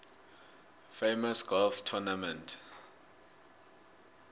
famous golf tournament